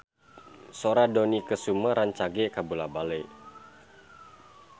Sora Dony Kesuma rancage kabula-bale